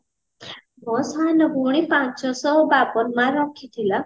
ମୋ ସାନ ଭଉଣୀ ପାଞ୍ଚ ଶହ ବାବନ mark ରଖିଥିଲା